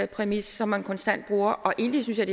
præmis som man konstant bruger egentlig synes jeg